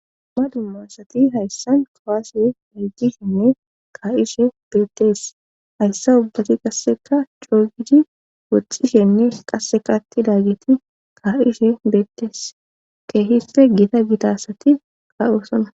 Duma dumma asati hayssan kuwaase dhiqishenne kaa'ishe beettees hayssa ubbati qasseka coogidi woxxishenne qasseka attidaageti kaa'ishe beettees keehipe giita gita asati kaa'osana